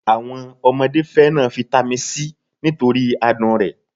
Àwọn ọmọdé fẹ́ràn fitami s nítorí adùn rẹ̀